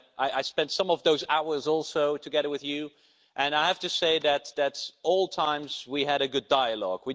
I spent some of those hours together with you and I have to say that at all times, we had a good dialogue.